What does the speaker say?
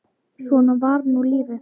Svona var nú lífið.